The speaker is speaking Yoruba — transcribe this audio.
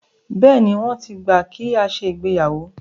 Bẹ́ẹ̀ni, wọ́n ti gbà kí a ṣe ìgbéyàwó.